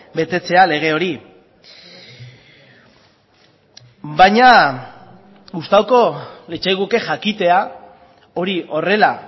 betetzea lege hori baina gustatuko litzaiguke jakitea hori horrela